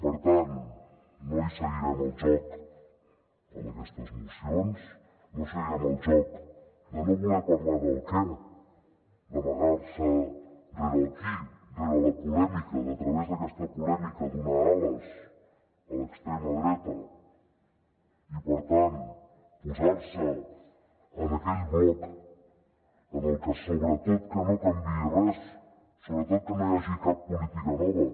per tant no li seguirem el joc amb aquestes mocions no seguirem el joc de no voler parlar del què d’amagar se rere el qui rere la polèmica de a través d’aquesta polèmica donar ales a l’extrema dreta i per tant posar se en aquell bloc en el que sobretot que no canviï res sobretot que no hi hagi cap política nova